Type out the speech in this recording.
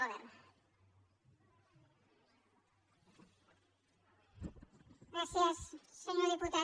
gràcies senyor diputat